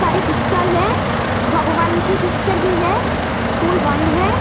सारी पिक्चर है। भगवान की पिक्चर भी है। स्कूल बंद है।